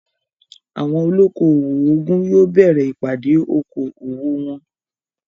Àwọn olóko-owò ogún yóò bẹ̀rẹ ìpàdé oko-owò wọn